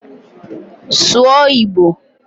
Sụọ Igbo!